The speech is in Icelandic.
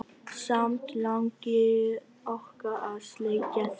Samt langi okkur að sleikja þær.